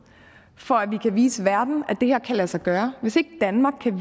for at vi kan vise verden at det her kan lade sig gøre hvis ikke danmark kan